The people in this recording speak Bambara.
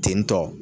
Tentɔ